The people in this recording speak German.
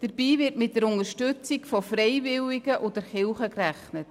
Dabei wird mit der Unterstützung durch Freiwillige und die Kirche gerechnet.